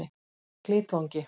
Glitvangi